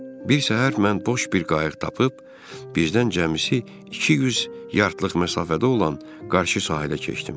Bir səhər mən boş bir qayıq tapıb, bizdən cəmisi iki yüz yardlıq məsafədə olan qarşı sahilə keçdim.